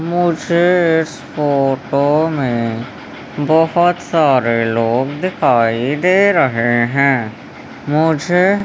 मुझे इस फोटो में बहोत सारे लोग दिखाई दे रहे हैं मुझे --